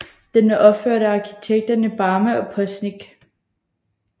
Den er opført af arkitekterne Barma og Postnik